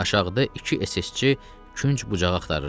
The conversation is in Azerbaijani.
Aşağıda iki SS-çi künc-bucağı axtarırdı.